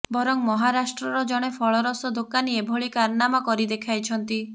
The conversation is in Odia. ବରଂ ମହାରାଷ୍ଟ୍ରର ଜଣେ ଫଳରସ୍ ଦୋକାନୀ ଏଭଳି କାରନାମା କରିଦେଖାଇଛନ୍ତି